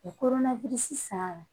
U kɔnɔna san